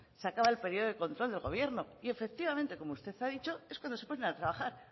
se acaba el periodo de control del gobierno y efectivamente como usted ha dicho es cuando se ponen a trabajar